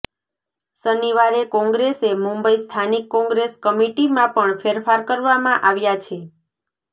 શનિવારે કોંગ્રેસે મુંબઈ સ્થાનિક કોંગ્રેસ કમિટીમાં પણ ફેરફાર કરવામાં આવ્યા છે